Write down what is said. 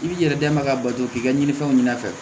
I b'i yɛrɛ dɛmɛ ka bato k'i ka ɲinifɛnw ɲɛna